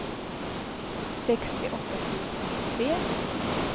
sextioåtta tusen nittiotre